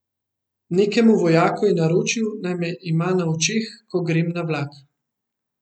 Nekemu vojaku je naročil, naj me ima na očeh, ko grem na vlak.